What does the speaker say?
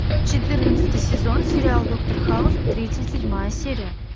четырнадцатый сезон сериал доктор хаус тридцать седьмая серия